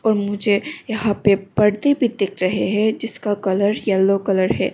मुझे यहां पे परदे भी दिख रहे हैं जिसका कलर येलो कलर है।